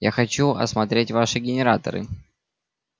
я хочу осмотреть ваши генераторы